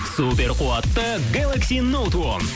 супер қуатты гелакси ноуд он